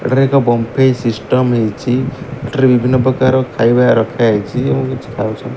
ଏଠାରେ ଏକ ବମ୍ଫେଇ ସିଷ୍ଟମ୍ ହେଇଚି ଏଠାରେ ବିଭିନ୍ନ ପ୍ରକାର ଖାଇବା ରଖାହେଇଚି ଏବଂ କିଛି ଖାଉଚ --